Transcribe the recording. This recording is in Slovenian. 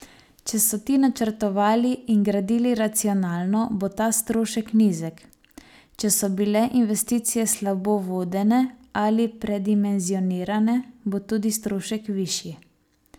Če so ti načrtovali in gradili racionalno, bo ta strošek nizek, če so bile investicije slabo vodene ali predimenzionirane, bo tudi strošek višji.